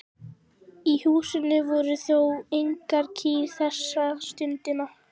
Í húsinu voru þó engar kýr þessa stundina.